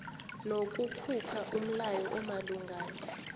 nokukhupha umlayo omalungana